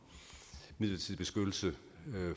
midlertidig beskyttelse